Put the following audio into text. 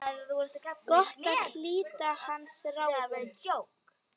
Gott að hlíta hans ráðum.